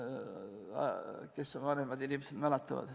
Kes siin vanemad inimesed on, mäletavad.